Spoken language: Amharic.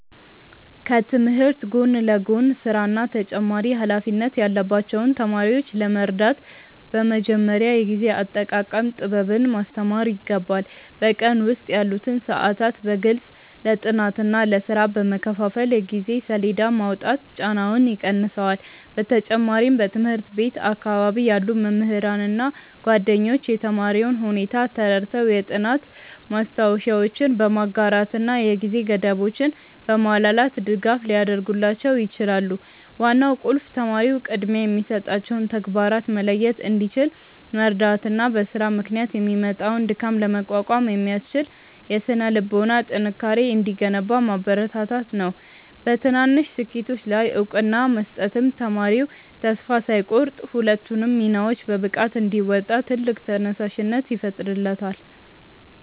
ከትምህርት ጎን ለጎን ሥራና ተጨማሪ ኃላፊነት ያለባቸውን ተማሪዎች ለመርዳት በመጀመሪያ የጊዜ አጠቃቀም ጥበብን ማስተማር ይገባል። በቀን ውስጥ ያሉትን ሰዓታት በግልጽ ለጥናትና ለሥራ በመከፋፈል የጊዜ ሰሌዳ ማውጣት ጫናውን ይቀንሰዋል። በተጨማሪም በትምህርት ቤት አካባቢ ያሉ መምህራንና ጓደኞች የተማሪውን ሁኔታ ተረድተው የጥናት ማስታወሻዎችን በማጋራትና የጊዜ ገደቦችን በማላላት ድጋፍ ሊያደርጉላቸው ይችላሉ። ዋናው ቁልፍ ተማሪው ቅድሚያ የሚሰጣቸውን ተግባራት መለየት እንዲችል መርዳትና በሥራ ምክንያት የሚመጣውን ድካም ለመቋቋም የሚያስችል የሥነ-ልቦና ጥንካሬ እንዲገነባ ማበረታታት ነው። በትናንሽ ስኬቶች ላይ እውቅና መስጠትም ተማሪው ተስፋ ሳይቆርጥ ሁለቱንም ሚናዎች በብቃት እንዲወጣ ትልቅ ተነሳሽነት ይፈጥርለታል።